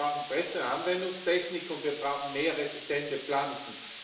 Wir brauchen bessere Anwendungstechnik, und wir brauchen mehr resistente Pflanzen.